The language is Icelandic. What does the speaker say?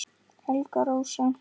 Helga Rósa